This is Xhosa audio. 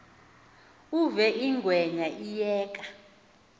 uve ingwenya iyeka